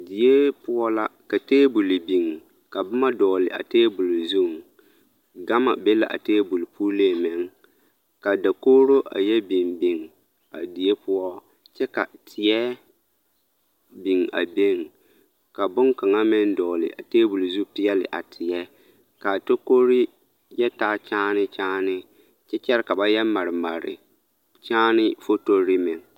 Die poɔ la ka teebol biŋ ka boma dɔgele a teebol zuŋ, gama be la a teebol puliŋ meŋ ka dakogiro a yɛ biŋ biŋ a die poɔ kyɛ ka teɛ biŋ a beŋ ka boŋkaŋa meŋ dɔgele a teebol zu peɛle a teɛ k'a tokore yɛ taa kyaane kyaane kyɛ kyɛre ka ba yɛ mare mare kyaane fotori meŋ.